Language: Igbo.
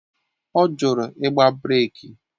Ọ jụrụ igba breeki